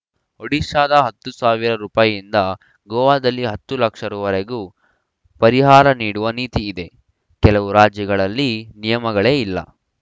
ಒಡಿಶಾದ ಹತ್ತು ರೂಪಾಯಿ ಯಿಂದ ಗೋವಾದಲ್ಲಿ ಹತ್ತು ಲಕ್ಷ ರೂಪಾಯಿ ವರೆಗೂ ಪರಿಹಾರ ನೀಡುವ ನೀತಿಯಿದೆ ಕೆಲವು ರಾಜ್ಯಗಳಲ್ಲಿ ನಿಯಮಗಳೇ ಇಲ್ಲ